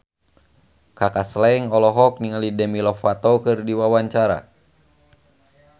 Kaka Slank olohok ningali Demi Lovato keur diwawancara